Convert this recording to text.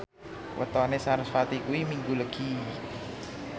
wetone sarasvati kuwi Minggu Legi